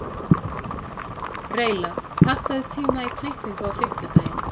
Reyla, pantaðu tíma í klippingu á fimmtudaginn.